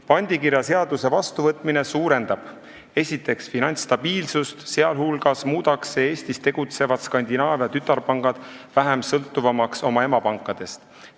Pandikirjaseaduse vastuvõtmine suurendab esiteks finantsstabiilsust, sh muudab see Eestis tegutsevad Skandinaavia tütarpangad oma emapankadest vähem sõltuvaks.